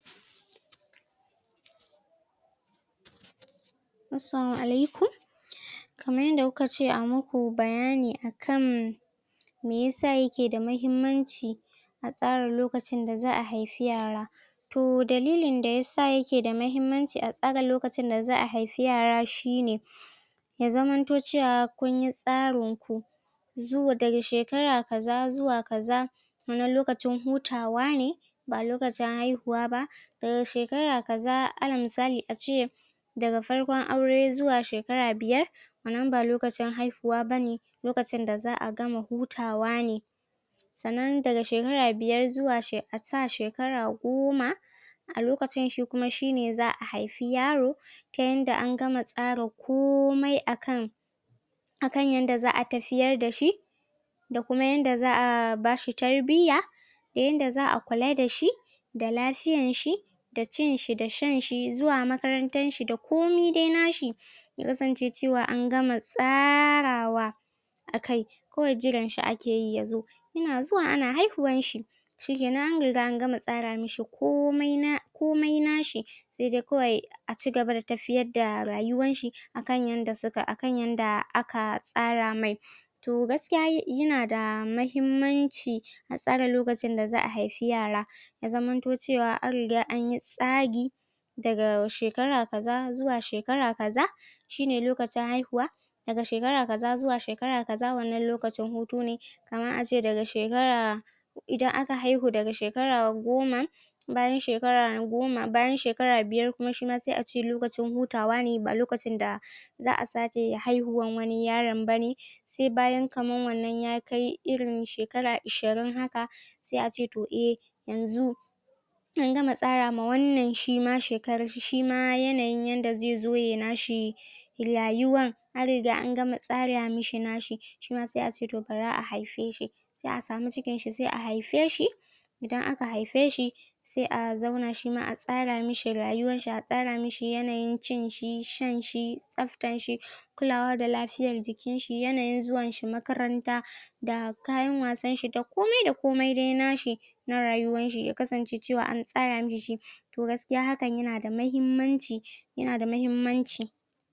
Assalamu alaikum Kamar yanda kuka ce a muku bayani akan me yasa ya ke da mahimmanci a tsara lokacin da za'a haifi yara. T dalilin da yasa ya ke da mahimmanci a tsara lokacin da za'a haifi yare shi ne; Y zamanto cewa kun yi tsarin zuwa, daga shekara kaza zuwa kaza wannan lokacin hutawa ne, ba lokacin haihuwa ba. Daga shekara kaza alal misali ace daga farkon aure zuwa shekara biyar wannan ba lokacin haihuwa bane lokacin da za'a gama hutawa ne. Sannan daga shekara biyar zuwa she a sa shekara goma a lokacin shi kuma shi ne za'a haifi yaro. Ta yanda an gama tsara komai akan akan yanda za'a tafiyar da shi da kuma yanda za'a ba shi tarbiyya da yanda za'a kula da shi. da lafiyan shi da cin shi da shan shi, zuwa makarantan shi da komi dai nashi. Ya kasance cewa an gama tsarawa akai, kawai jiran shi ake yi ya zo. Ya na zuwa ana haihuwan shi, shi kenan an riga an gama tsara mishi komai na komai nashi. Sai dai kawai a cigaba da tafiyar da rayuwar shi akan yanda suka, akan yanda aka tsara mai. To gaskiya ya, ya na da mahimmanci a tsara lokacin da za'a haifi yara. Ya zamanto cewa an riga an yi tsari. Dag shekara kaza zuwa shekara kaza shi ne lokacin haihuwa. Daga shekara kaza zuwa shekara kaza wannan lokacin hutu ne. Kaman ace daga shekara idan aka haihu daga shekara goma, bayan shekara na goma, bayan shekara biyar kuma shi ma sai ace lokacin hutawa ne, ba lokacin da za'a sake haihuwan wani yaron bane. Sai bayan kaman wannan yakai irin shekara ishirin haka sai ace to eh, yanzu an gama tsarama wannan shi ma shekarar shi, shi ma yanayin yanda zai zo yayi nashi rayuwan an riga na gama tsara mishi nashi, shi ma sai ace to bari a haife shi. Sai a samu cikin shi, sai a haife shi. Idan aka haife shi, sai a zauna shi ma a tsara mishi rayuwan shi a tsara mishi yanayin cin shi, shan shi, tsaftan shi, kulawa da lafiyan jikin shi, yanayin zuwan shi makaranta, da kayan wasan shi, da komai da komai dai nashi, na rayuwan shi, ya kasance cewa an tsara mishi shi. To gasikya hakan ya na da mahimmanci ya na da mahimmanci.